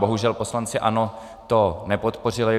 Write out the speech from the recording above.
Bohužel, poslanci ANO to nepodpořili.